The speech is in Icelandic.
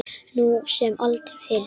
Nú sem aldrei fyrr.